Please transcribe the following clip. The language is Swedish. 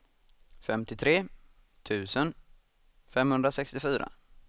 femtiotre tusen femhundrasextiofyra